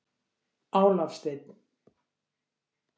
Álafsteinn